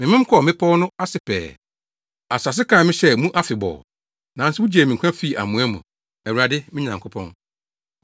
Memem kɔɔ mmepɔw no ase pɛɛ; asase ase kaa me hyɛɛ mu afebɔɔ. Nanso wugyee me nkwa fii amoa mu, Awurade, me Nyankopɔn.